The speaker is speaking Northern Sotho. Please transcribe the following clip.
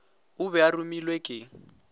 o be a romilwe ke